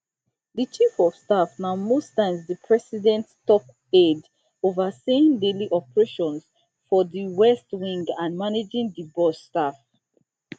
di chief of staff na most times di president top aide overseeing daily operations for di west wing and managing di boss staff